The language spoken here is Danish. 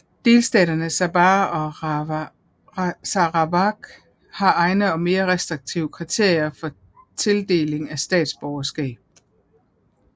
Delstaterne Sabah og Sarawak har egne og mere restriktive kriterier for tildeling af statsborgerskab